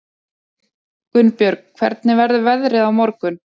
Gunnbjörg, hvernig verður veðrið á morgun?